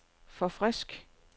forfrisk